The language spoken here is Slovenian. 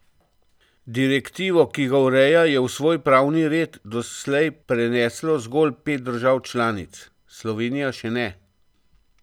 Direktivo, ki ga ureja, je v svoj pravni red doslej preneslo zgolj pet držav članic, Slovenija še ne.